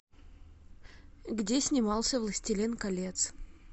где снимался властелин колец